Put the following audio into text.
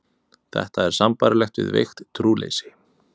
Þetta er sambærilegt við veikt trúleysi.